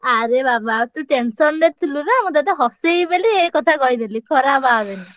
ଆରେ ବାବା ଆଉ ତୁ tension ରେ ଥିଲୁ ନା ମୁଁ ତତେ ହସେଇବି ବୋଲି ଏଇ କଥା କହିଦେଲି ଖରାପ ଭାବେନା।